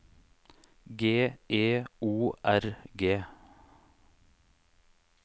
G E O R G